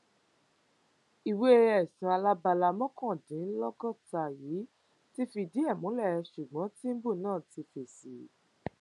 ìwé ẹsùn alábala mọkàndínlọgọta yìí ti fìdí ẹ múlẹ ṣùgbọn tìǹbù náà ti fèsì o